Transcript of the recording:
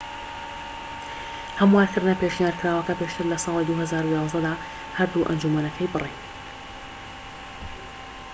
هەموارکردنە پێشنیارکراوەکە پێشتر لە ساڵی 2011 دا هەردوو ئەنجومەنەکەی بڕی